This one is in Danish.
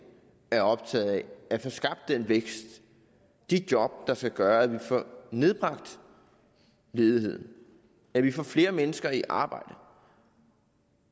er optaget af at få skabt den vækst og de job der skal gøre at vi får nedbragt ledigheden at vi får flere mennesker i arbejde